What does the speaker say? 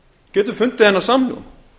getum fundið þennan samhljóm